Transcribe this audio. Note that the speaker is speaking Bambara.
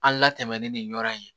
An latɛmɛn ni yɔrɔ in ye